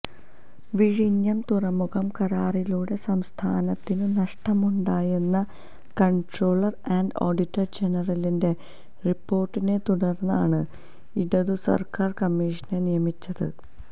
വിഴിഞ്ഞം തുറമുഖ കരാറിലൂടെ സംസ്ഥാനത്തിനു നഷ്ടമുണ്ടായെന്ന കൺട്രോളർ ആൻഡ് ഓഡിറ്റർ ജനറലിന്റെ റിപ്പോർട്ടിനെത്തുടർന്നാണ് ഇടതുസർക്കാർ കമ്മിഷനെ നിയമിച്ചത്